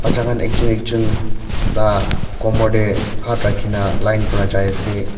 bacha khan akjon akjon la komor tae hat rakhina line pra jaiase.